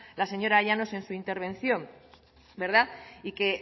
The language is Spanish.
la señora llanos en su intervención verdad y que